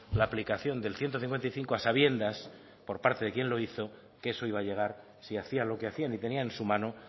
la aplicación del ciento cincuenta y cinco a sabiendas por parte de quien lo hizo que eso iba a llegar si hacia lo que hacían y tenía en su mano